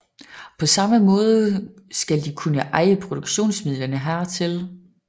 På samme måde skal de kunne eje produktionsmidlerne hertil